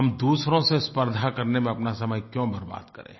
हम दूसरों से स्पर्द्धा करने में अपना समय क्यों बर्बाद करें